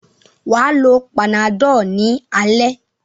Wà á lo Panadol ní alẹ́.